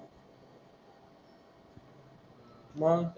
मंग,